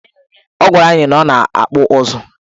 Ọ gwara anyị na ọ na-akpụ ụzụ.